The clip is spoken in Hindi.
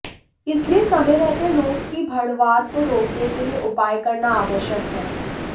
इसलिए समय रहते रोग की बढ़वार को रोकने के लिए उपाय करना आवश्यक है